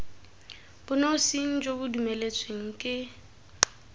bonosing bo bo dumeletsweng ke